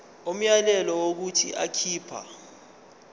umyalelo wokuthi akhipha